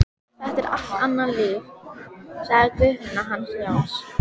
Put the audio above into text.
Þetta er allt annað líf, sagði Guðfinna hans Jóns.